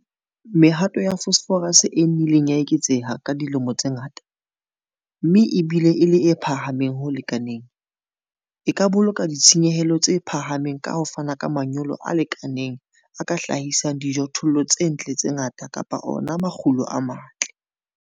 Mehato ya phosphorus e nnileng ya eketseha ka dilemo tse ngata, mme e bile e le e phahameng ho lekaneng, e ka boloka ditshenyehelo tse phahameng ka ho fana ka manyolo a lekaneng a ka hlahisang dijothollo tse ntle le tse ngata kapa ona makgulo a matle.